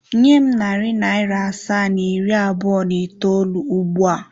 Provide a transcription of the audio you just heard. Nye m narị naịra asaa na iri abụọ na itoolu ugbu a!